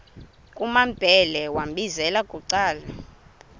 kumambhele wambizela bucala